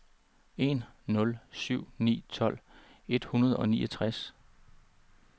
en nul syv ni tolv et hundrede og niogtres